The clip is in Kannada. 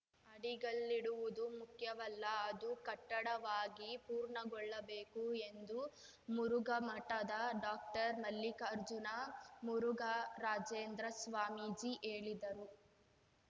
ಅಡಿಗಲ್ಲಿಡುವುದು ಮುಖ್ಯವಲ್ಲ ಅದು ಕಟ್ಟಡವಾಗಿ ಪೂರ್ಣಗೊಳ್ಳಬೇಕು ಎಂದು ಮುರುಘಾಮಠದ ಡಾಕ್ಟರ್ ಮಲ್ಲಿಕಾರ್ಜುನ ಮುರುಘರಾಜೇಂದ್ರ ಸ್ವಾಮೀಜಿ ಹೇಳಿದರು